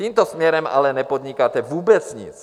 Tímto směrem ale nepodnikáte vůbec nic.